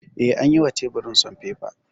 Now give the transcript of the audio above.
Eh, an yi wa teburin sanfefa